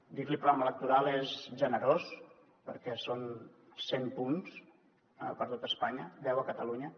dir li programa electoral és generós perquè són cent punts per a tot espanya deu a catalunya